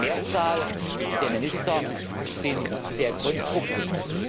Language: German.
Die Mehrzahl der Minister ist sehr konstruktiv.